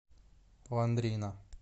лондрина